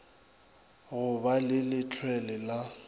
go ba le lehlwele la